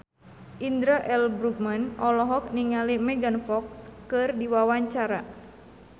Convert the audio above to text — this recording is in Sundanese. Indra L. Bruggman olohok ningali Megan Fox keur diwawancara